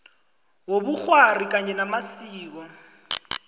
wobukghwari kanye namasiko